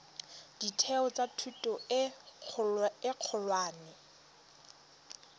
ditheo tsa thuto e kgolwane